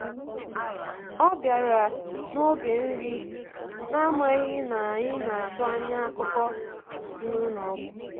Ọ bịara n’oge nri, na-amaghị na anyị na-atụ anya akụkọ si n’ụlọ ọgwụ.